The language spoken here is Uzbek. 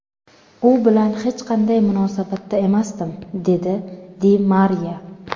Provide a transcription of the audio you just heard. U bilan hech qanday munosabatda emasdim”, dedi Di Mariya.